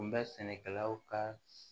N bɛ sɛnɛkɛlaw ka